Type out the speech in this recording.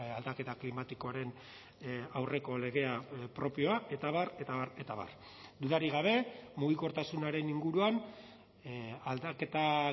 aldaketa klimatikoaren aurreko legea propioa eta abar eta abar eta abar dudarik gabe mugikortasunaren inguruan aldaketa